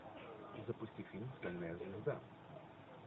запусти фильм стальная звезда